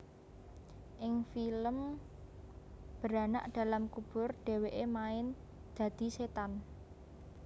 Ing film Beranak dalam Kubur dheweke main dadi setan